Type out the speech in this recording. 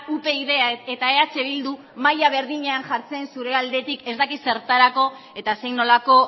upyd eta eh bildu mahaia berdinean jartzen zure aldetik ez dakit zertarako eta zein nolako